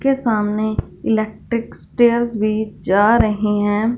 के सामने electric stairs भी जा रहे हैं।